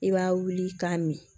I b'a wuli k'a mi